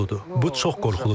Bu çox qorxuludur.